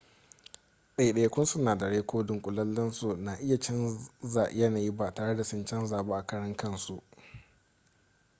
daidaikun sinadarai ko dunkulensu na iya canza yanayi ba tare da sun canza ba a karan kansu